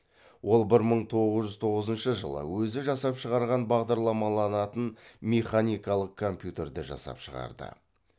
ол бір мың тоғыз жүз тоғызыншы жылы өзі жасап шығарған бағдарламаланатын механикалық компьютерді жасап шығарды